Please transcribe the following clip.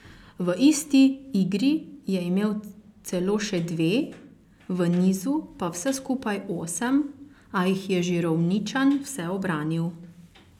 V isti igri je imel celo še dve, v nizu pa vse skupaj osem, a jih je Žirovničan vse ubranil.